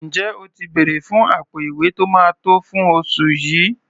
Ǹjẹ́ o ti bèrẹ̀ fún àpò-ìwé tó máa tó fún oṣù yìí?